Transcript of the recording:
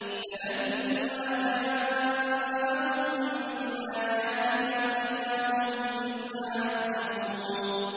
فَلَمَّا جَاءَهُم بِآيَاتِنَا إِذَا هُم مِّنْهَا يَضْحَكُونَ